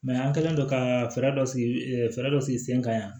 an kɛlen don ka fɛɛrɛ dɔ sigi fɛɛrɛ dɔ sigi sen kan yan